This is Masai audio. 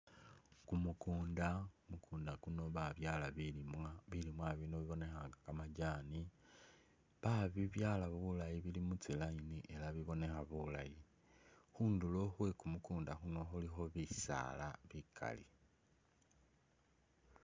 Kumukunda, kumukunda kuno babyala bilimwa , bilimwa bino bibonekha nga’kamajani babibyala bulayi bili mutsi line ela bibonekha bulayi , khunduro khwe kumukunda khuko khulikho bisala bikali .